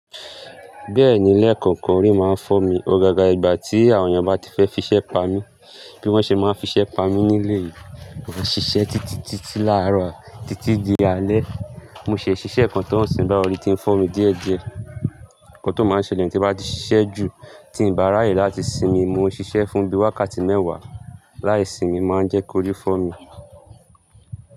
Bẹ́ẹ̀ni, leekookan ori máa ń fọ́ mi. Ó gaga ìgbà tí àwọn èèyàn bá ti fẹ́ fiṣẹ́ pa mí, bí wọ́n ṣe máa fiṣẹ́ pa mí ní léyìí. Mo máa ń ṣiṣẹ́ títí, títí láàárọ̀, títí di alẹ́. Mo ṣè ṣiṣẹ́ kan tó ń sìn báyi òrì tí ń fọ́ mi díẹ̀díẹ̀, nkan tó máa n ṣẹlẹ̀ ni tí bá ti ṣiṣẹ́ jù, tí ń bá ráyè láti sinmi. Mo ṣiṣẹ́ fún bí wákàtí mẹ́wàá láì sinmi máa ń jẹ́ kó rí fọ́ mi.